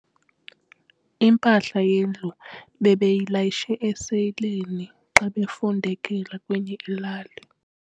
Impahla yendlu bebeyilayishe esileyini xa bebefundekela kwenye ilali.